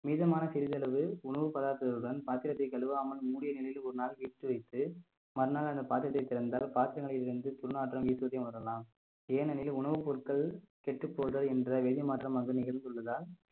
மிதமான சிறிதளவு உணவு பதார்த்தங்களுடன் பாத்திரத்தை கழுவாமல் மூடிய நிலையில் ஒரு நாள் எடுத்து வைத்து மறுநாள் அந்த பாத்திரத்தை திறந்தால் பாத்திரங்களில் இருந்து துர்நாற்றம் வீசுவதை உணரலாம் ஏனெனில் உணவுப் பொருட்கள் கெட்டுப் போதல் என்ற வேதி மாற்றம் வந்து நிகழ்ந்துள்ளதால்